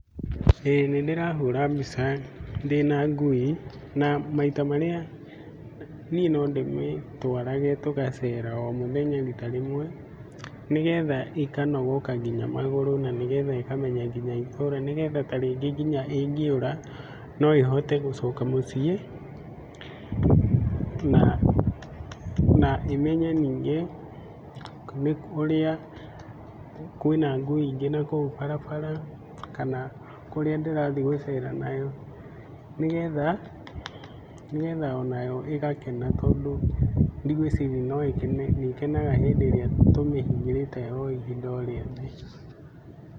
Ĩĩ nĩ ndĩrahũra mbica ndĩna ngui na maita marĩa, niĩ no ndĩmĩtwarage tũgacera o mũthenya rita rĩmwe nĩgetha ĩkanogoka nginya magũrũ na nĩgetha ĩkamenya nginya itũũra nĩgetha ta rĩngĩ nginya ĩngĩũra, no ĩhote gũcoka mũciĩ na na, ĩmenye rĩngĩ kwĩna ngui ingĩ nakũu barabara kana kũrĩa ndĩrathiĩ gũcera nayo nĩgetha o nayo ĩgakena tondũ ndigwĩciria nĩ kenega hĩndĩ ĩrĩa tũmĩhingĩite o ihinda o rĩothe.